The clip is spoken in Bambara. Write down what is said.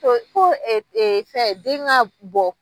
Ko fɛn den ka bɔ